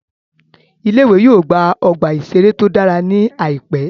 Ilé ìwé yóò gba ọgbà ìṣeré tó dára ní àìpẹ́